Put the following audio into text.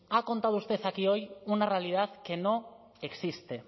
ha contado usted aquí hoy una realidad que no existe